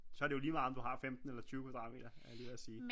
Så er det jo lige meget om du har 15 eller 20 kvadratmeter er jeg lige ved at sige